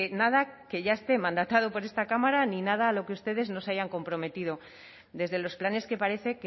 nada que ya esté mandatado por esta cámara ni nada a lo que ustedes no se hayan comprometido desde los planes que parece